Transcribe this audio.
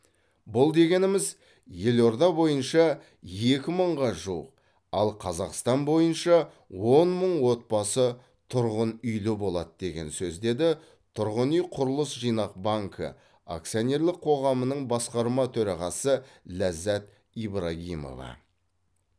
бұл дегеніміз елорда бойынша екі мыңға жуық ал қазақстан бойынша он мың отбасы тұрғын үйлі болады деген сөз деді тұрғын үй құрылыс жинақ банкі акционерлік қоғамының басқарма төрағасы ләззат ибрагимова